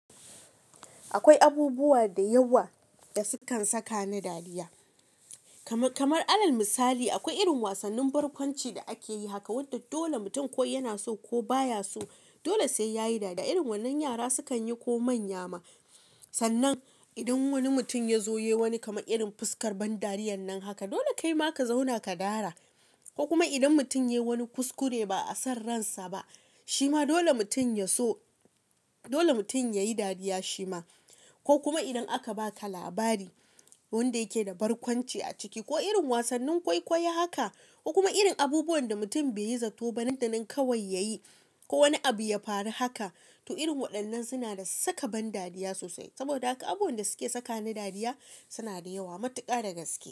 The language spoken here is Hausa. Akwai abubuwa da yawa da sukan saka na dariya kamar alal misali akwai irin wasannin barkwanci da akeyi haka wanda dole mutum ko yana so ko baya so dole sai yayi dariya irin wannan yara sukan yi ko manya ma sannan idan wani mutum ya zo yayi wani kama irin fuskar ban dariyar nan haka dole kaima ka zauna ka dara ko kuma idan mutum yayi wani kuskure ba a san ransa ba shima dole mutum so dole mutum yayi dariya shima ko kuma idan aka baka labari wanda yake da barkwanci a ciki ko irin wasannin kwaikwai haka ko kuma irin abubuwan da mutum bai yi zato ba nan da nan kawai yayi ko wani abu ya faru haka to irin waɗannan suna da saka ban dariya sosai saboda haka abubuwan da suke saka na dariya suna da yawa matuƙa da gaske.